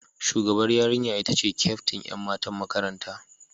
Shugabar yarinya ita ce kyaftin ’yan matan makaranta.